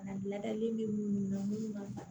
Bana ladalen bɛ munnu na munnu ma ban